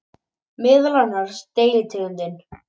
Meðal annars deilitegundin